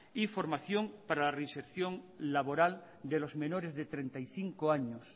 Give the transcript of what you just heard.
y formación para la reinserción laboral de los menores de treinta y cinco años